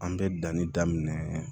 An bɛ danni daminɛ